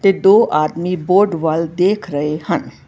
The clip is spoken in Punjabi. ਤੇ ਦੋ ਆਦਮੀ ਬੋਰਡ ਵੱਲ ਦੇਖ ਰਹੇ ਹਨ।